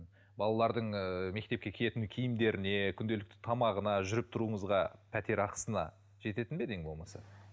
балалардың ыыы мектепке киетін киімдеріне күнделікті тамағына жүріп тұруыңызға пәтер ақысына жететін бе еді ең болмаса